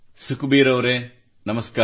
ಸುಖಬೀರ್ ಅವರೆ ನಮಸ್ಕಾರ